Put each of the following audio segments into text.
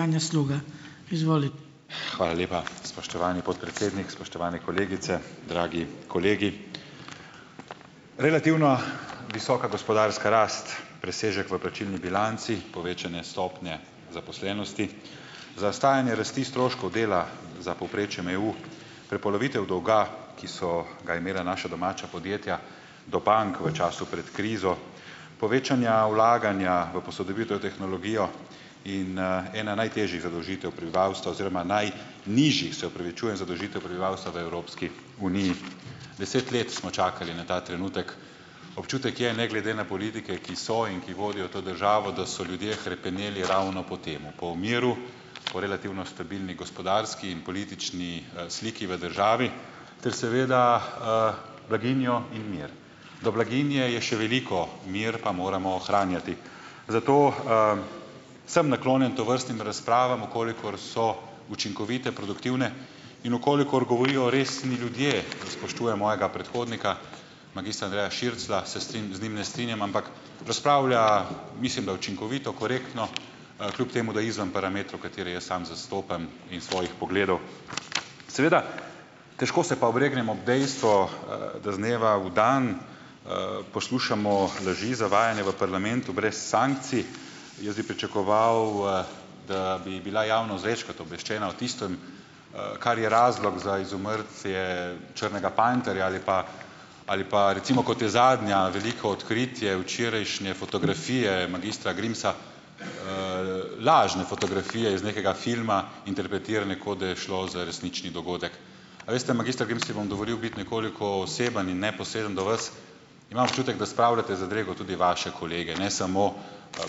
Hvala lepa, spoštovani podpredsednik. Spoštovane kolegice, dragi kolegi! Relativno visoka gospodarska rast, presežek v plačilni bilanci, povečanje stopnje zaposlenosti, zastajanje rasti stroškov dela za povprečjem EU, prepolovitev dolga, ki so ga imela naša domača podjetja do bank v času pred krizo, povečanja vlaganja v posodobitev tehnologije in ena najtežjih zadolžitev prebivalstva oziroma najnižjih, se opravičujem, zadolžitev prebivalstva v Evropski uniji. Deset let smo čakali na ta trenutek. Občutek je, ne glede na politike, ki so in ki vodijo to državo, da so ljudje hrepeneli ravno po tem. Po miru, po relativno stabilni gospodarski in politični, sliki v državi ter seveda, blaginjo in mir. Do blaginje je še veliko, mir pa moramo ohranjati. Zato, sem naklonjen tovrstnim razpravam, v kolikor so učinkovite, produktivne in v kolikor govorijo resni ljudje, spoštujem mojega predhodnika magistra Andreja Širclja, se z njim ne strinjam, ampak razpravlja, mislim da, učinkovito, korektno, kljub temu, da je izven parametrov, katere jaz sam zastopam in svojih pogledov, seveda težko se pa obregnem ob dejstvo, da z dneva v dan poslušamo laži, zavajanje v parlamentu brez sankcij. Jaz bi pričakoval, da bi bila javnost večkrat obveščena o tistem, kar je razlog za izumrtje črnega panterja ali pa ali pa recimo, kot je zadnje veliko odkritje, včerajšnje fotografije magistra Grimsa, lažne fotografije iz nekega filma interpretirane, kot da je šlo za resnični dogodek. Veste, magister Grims, si bom dovolil biti nekoliko oseben in neposreden do vas, imam občutek, da spravljate v zadrego tudi vaše kolege, ne samo,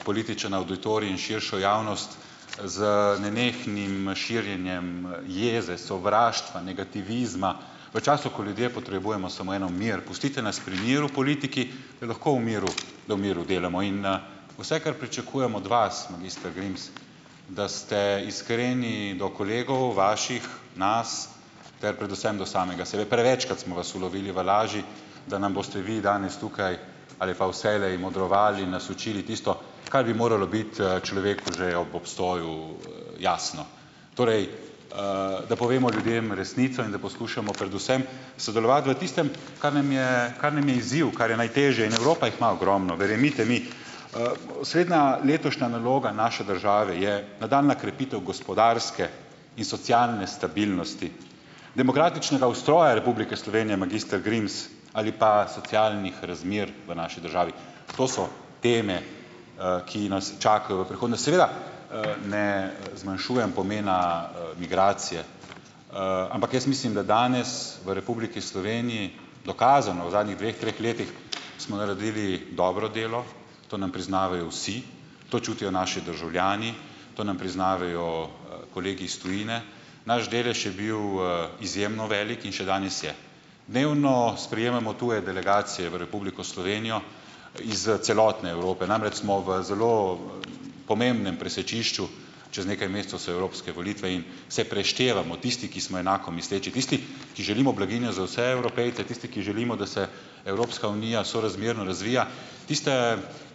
politični avditorij in širšo javnost z nenehnim širjenjem jeze, sovraštva, negativizma v času, ko ljudje potrebujemo samo eno, mir, pustite nas pri miru, politiki, je lahko v miru, da v miru delamo in vse, kar pričakujem od vas, magister Grims, da ste iskreni do kolegov, vaših, nas ter predvsem do samega sebe. Prevečkrat smo vas ulovili v laži, da nam boste vi danes tukaj ali pa vselej modrovali, nas učili tisto, kar bi moralo biti človeku že ob obstoju, jasno. Torej, da povemo ljudem resnico in da poskušamo predvsem sodelovati v tistem, kar nam je, kar nam je izziv, kar je najtežje, in Evropa jih ima ogromno, verjemite mi. Osrednja letošnja naloga naše države je, nadaljnja krepitev gospodarske in socialne stabilnosti, demokratičnega ustroja Republike Slovenije, magister Grims, ali pa socialnih razmer v naši državi. To so teme, ki nas čakajo v prihodnosti. Seveda, ne zmanjšujem pomena, migracije, ampak jaz mislim, da danes v Republiki Sloveniji, dokazano v zadnjih dveh, treh letih smo naredili dobro delo. To nam priznavajo vsi, to čutijo naši državljani, to nam priznavajo, kolegi iz tujine. Naš delež je bil, izjemno velik in še danes je. Dnevno sprejemamo tuje delegacije v Republiko Slovenijo iz celotne Evrope. Namreč smo v zelo, pomembnem presečišču, čez nekaj mesecev so evropske volitve in se preštevamo tisti, ki smo enako misleči, tisti, ki želimo blaginjo za vse Evropejce, tisti ki želimo, da se Evropska unija sorazmerno razvija. Tiste,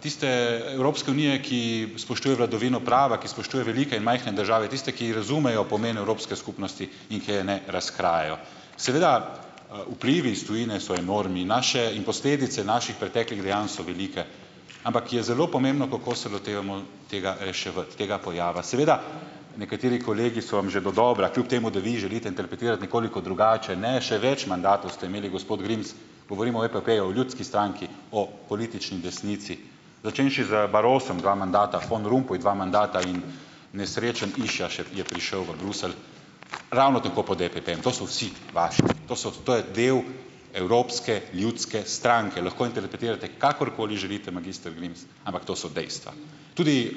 tiste Evropske unije, ki spoštuje vladavino prava, ki spoštuje velike in majhne države, tiste, ki razumejo pomen evropske skupnosti in ki je ne razkrajajo. Seveda, vplivi iz tujine so enormni. Naše in posledice naših preteklih dejanj so velike, ampak je zelo pomembno, kako se lotevamo tega reševati, tega pojava. Seveda, nekateri kolegi so vam že dodobra, kljub temu da vi želite interpretirati nekoliko drugače, ne, še več mandatov ste imeli, gospod Grims, govorimo o EPP-ju, o ljudski stranki, o politični desnici. Začenši z Barrosom dva mandata, Van Rompuy dva mandata in nesrečen išaš je je prišel v Bruselj, ravno tako pod EPP-jem, to so vsi vaši, to so, to je delo Evropske ljudske stranke. Lahko interpretirate kakorkoli želite, magister Grims, ampak to so dejstva. Tudi,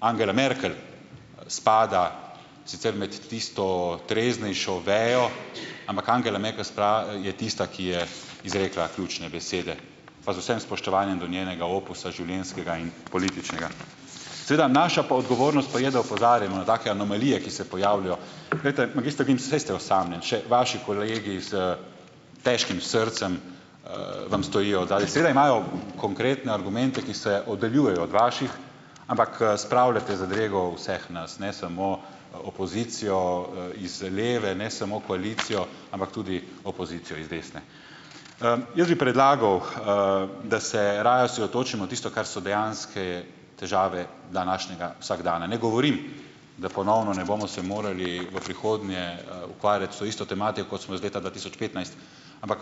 Angela Merkel, spada sicer med tisto treznejšo vejo, ampak Angela Merkel je tista, ki je izrekla ključne besede. Pa z vsem spoštovanjem do njenega opusa, življenjskega in političnega. Seveda naša pa odgovornost pa je, da opozarjamo na take anomalije, ki se pojavljajo. Glejte, magister Grims, saj ste osamljeni, še vaši kolegi s težkim srcem, vam stojijo odzadaj. Seveda imajo konkretne argumente, ki se oddaljujejo od vaših, ampak, spravljate zadrego vseh nas, ne samo opozicijo, iz leve, ne samo koalicijo, ampak tudi opozicijo iz desne. Jaz bi predlagal, da se raje osredotočimo tisto, kar so dejanske težave današnjega vsakdana. Ne govorim, da ponovno ne bomo se morali v prihodnje, ukvarjati s to isto tematiko, kot smo jo iz leta dva tisoč petnajst, ampak,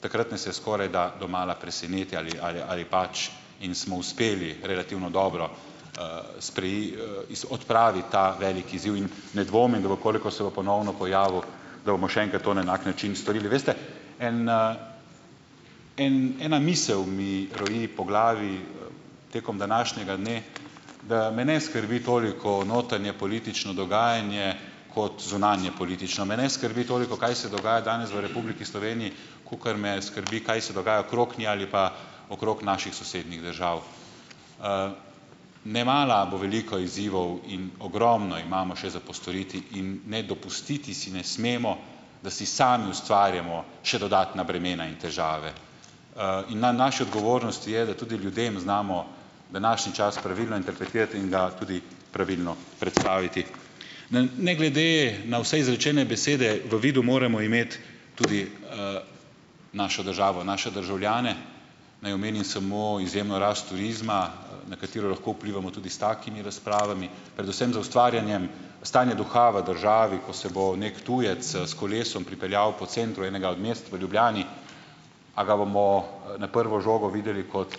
takrat nas je skorajda domala preseneti ali pač, in smo uspeli relativno dobro, odpraviti ta veliko izziv in ne dvomim, da v kolikor se bo ponovno pojavil, da bomo še enkrat to na enak način storili. Veste, en, en ena misel mi roji po glavi, tekom današnjega dne, da me ne skrbi toliko notranjepolitično dogajanje kot zunanjepolitično. Me ne skrbi toliko, kaj se dogaja danes v Republiki Sloveniji, kakor me skrbi, kaj se dogaja okrog, ne, ali pa okrog naših sosednjih držav. Nemara bo veliko izzivov in ogromno imamo še za postoriti, in ne, dopustiti si ne smemo, da si sami ustvarjamo še dodatna bremena in težave. In na naši odgovornosti je, da tudi ljudem znamo današnji čas pravilno interpretirati in ga tudi pravilno predstaviti . Ne, ne glede na vse izrečene besede, v vidu moramo imeti tudi, našo državo, naše državljane. Naj omenim samo izjemno rast turizma, na katero lahko vplivamo tudi s takimi razpravami, predvsem z ustvarjanjem stanja duha v državi, ko se bo neki tujec s kolesom pripeljal po centru enega od mest, v Ljubljani - a ga bomo na prvo žogo videli kot,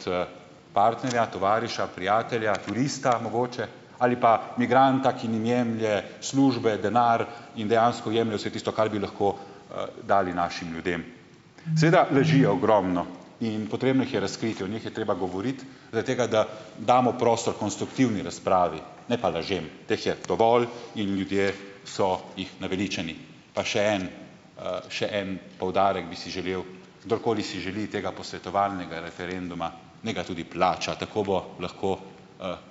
partnerja, tovariša, prijatelja, turista, mogoče? Ali pa migranta, ki njim jemlje službe, denar in dejansko jemlje vse tisto, kar bi lahko, dali našim ljudem. Seveda, laži je ogromno in potrebno jih je razkriti, o njih je treba govoriti - zaradi tega, da damo prostor konstruktivni razpravi, ne pa lažem. Teh je dovolj in ljudje so jih naveličani. Pa še en, še en poudarek bi si želel - kdorkoli si želi tega posvetovalnega referenduma, naj ga tudi plača. Tako bo lahko,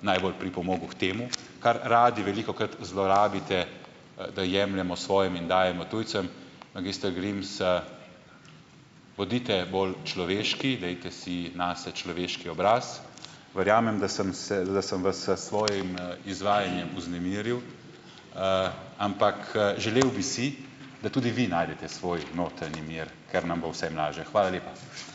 najbolj pripomogel k temu, kar radi velikokrat zlorabite - da jemljemo svojim in dajemo tujcem - magister Grims, bodite bolj človeški, dajte si nase človeški obraz. Verjamem, da sem se, da sem vas s svojim izvajanjem vznemiril, ampak, želel bi si, da tudi vi najdete svoj notranji mir, ker nam bo vsem lažje. Hvala lepa.